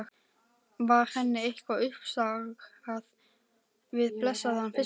Var henni eitthvað uppsigað við blessaðan fiskinn?